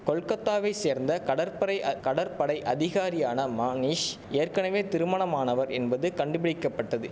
கோல்கட்டாவை சேர்ந்த கடற்பரைய கடற்படை அதிகாரியான மாணீஷ் ஏற்கனவே திருமணமானவர் என்பதும் கண்டுபிடிக்க பட்டது